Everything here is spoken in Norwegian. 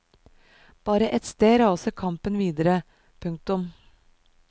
Bare ett sted raser kampen videre. punktum